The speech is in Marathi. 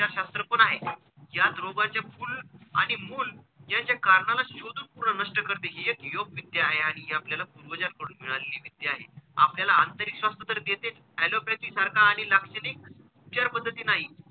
यात रोगाचे तृण आणि मूल याचे कारणाला शोधून पूर्ण नष्ट करते हि एक योगविद्या आहे आणि हि आपल्याला पूर्वजांकडून मिळालेली विद्या आहे. आपल्याला आंतरिक स्वास्थ तर देतेच alopathy सारखा आणि लाक्षणिक विचारपद्धती नाही.